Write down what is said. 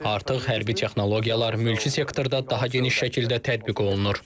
Artıq hərbi texnologiyalar mülki sektorda daha geniş şəkildə tətbiq olunur.